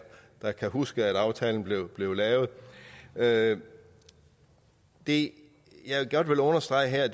der kan huske at aftalen blev blev lavet lavet det jeg godt vil understrege her